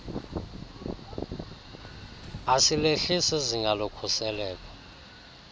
asilehlisi izinga lokhuseleko